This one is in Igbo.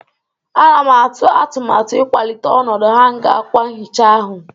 Ana m atụ atụmatụ ịkwalite ọnọdụ hanga akwa nhicha ahụ.